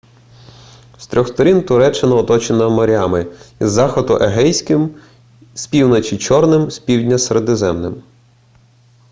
з трьох сторін туреччина оточена морями із заходу егейським з півночі чорним і з півдня середземним